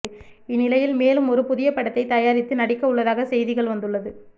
இந்நிலையில் மேலும் ஒரு புதிய படத்தை தயாரித்து நடிக்கவுள்ளதாக செய்திகள் வந்துள்ளது